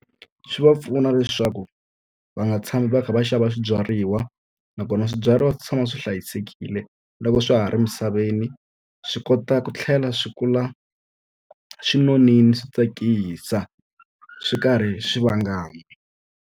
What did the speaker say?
Swi va pfuna leswaku va nga tshami va kha va xava swibyariwa, nakona swibyariwa swi tshama swi hlayisekile loko swa ha ri emisaveni. Swi kota ku tlhela swi kula swi nonile, swi tsakisa, swi karhi swi vangama.